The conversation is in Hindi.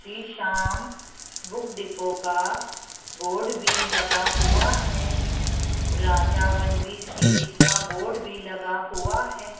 श्री श्याम बुक डिपो का बोर्ड भी लगा हुआ है राजा वनवीर सीरीज का बोर्ड भी लगा हुआ है।